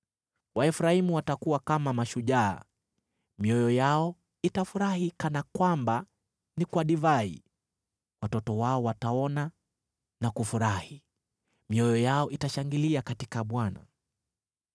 Waefraimu watakuwa kama mashujaa, mioyo yao itafurahi kana kwamba ni kwa divai. Watoto wao wataona na kufurahi, mioyo yao itashangilia katika Bwana .